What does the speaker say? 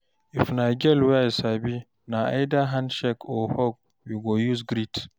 if na girl wey I sabi, na either handshake or hug we go use greet